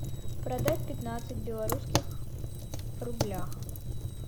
продать пятнадцать белорусских рублях